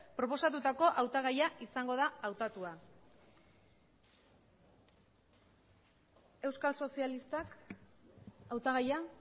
proposatutako hautagaia izango da hautatua euskal sozialistak hautagaia